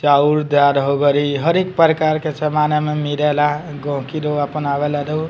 चाउर दाल होगईल हर एक प्रकार के सामान एहमे मिले ला गहकी लोग अपन आवेला लोग।